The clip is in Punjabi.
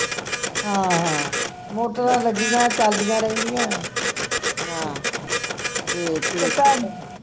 ਹਾਂ ਹਾਂ ਮੋਟਰਾਂ ਲੱਗਿਆਂ ਚਲਦਿਆਂ ਰਹਿੰਦੀਆਂ